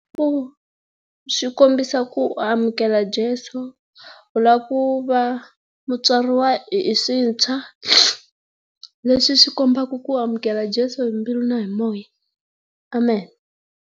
Ku swikombiso ku u amukela Jesu, u la ku va u tswariwa hi swintshwa. Leswi swi kombaka ku amukela Jesu hi mbilu na hi moya. Amen.